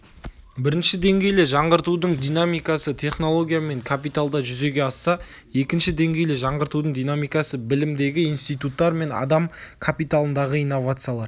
бірінші деңгейлі жаңғыртудың динамикасы технология мен капиталда жүзеге асса екінші деңгейлі жаңғыртудың динамикасы білімдегі институттар мен адам капиталындағы инновациялар